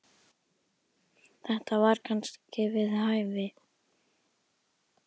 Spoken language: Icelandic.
Þetta var kannski við hæfi.